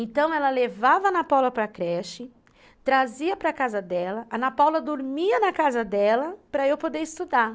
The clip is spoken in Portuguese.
Então ela levava a Ana Paula para creche, trazia para casa dela, a Ana Paula dormia na casa dela para eu poder estudar.